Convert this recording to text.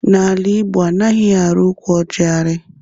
N'ala Igbo, anaghị ari ụkwụ ọjị ari